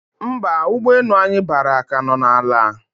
Mba, ụgbọ enu anyi bara ka no na ala